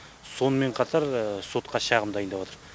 сонымен қатар сотқа шағым дайындаватыр